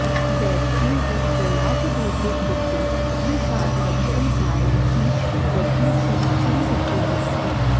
दैत्यैः जलावरोधे कृते तृषार्तं संसारं वीक्ष्य दधीचिः चिन्तितो भवति